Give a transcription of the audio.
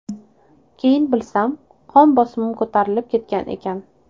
Keyin bilsam, qon bosimim ko‘tarilib ketgan ekan.